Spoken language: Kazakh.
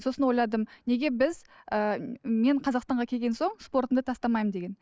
сосын ойладым неге біз ііі мен қазақстанға келген соң спортымды тастамаймын деген